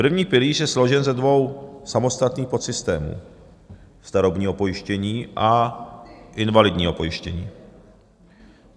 První pilíř je složen ze dvou samostatných podsystémů - starobního pojištění a invalidního pojištění.